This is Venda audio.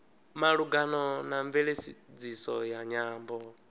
malugana na mveledziso ya nyambo